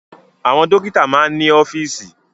Àwọn dọ́kítá máa ń ní ọ́fíísì.